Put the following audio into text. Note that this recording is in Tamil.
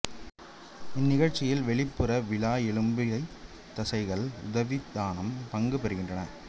இந்நிகழ்ச்சியில் வெளிப்புற விலா எலும்பிடைத் தசைகள் உதரவிதானம் பங்கு பெறுகின்றன